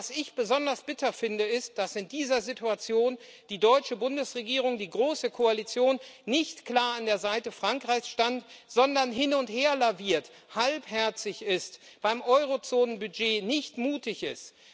Was ich besonders bitter finde, ist, dass in dieser Situation die deutsche Bundesregierung die große Koalition nicht klar an der Seite Frankreichs stand, sondern hin und her laviert, halbherzig ist, beim Eurozonenbudget nicht mutig ist.